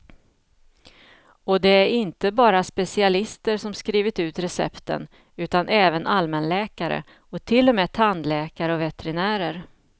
Och det är inte bara specialister som skrivit ut recepten, utan även allmänläkare och till och med tandläkare och veterinärer.